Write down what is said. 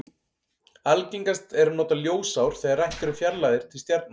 Algengast er að nota ljósár þegar rætt er um fjarlægðir til stjarna.